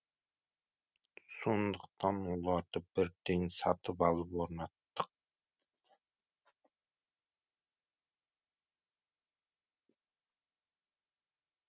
сондықтан оларды бірден сатып алып орнаттық